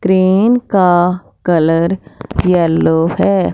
Crane का colour yellow है।